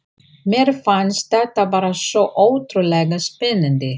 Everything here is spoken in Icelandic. Mér fannst þetta bara svo ótrúlega spennandi.